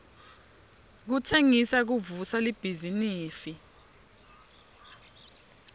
kutsengisa kuvusa libhizinifi